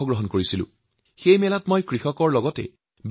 তাত কৃষক ভাইভনী আৰু বৈজ্ঞানিকসকলৰ সৈতে মই আলোচনা মিলিত হৈছিলো